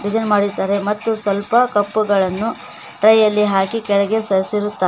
Design ಮಾಡಿದ್ದಾರೆ ಮತ್ತು ಸ್ವಲ್ಪ ಕಪ್ಪು ಗಳನ್ನು ಟ್ರೈ ಯಲ್ಲಿ ಹಾಕಿ ಕೆಳಗೆ ಸರಿಸಿರುತ್ತಾರೆ.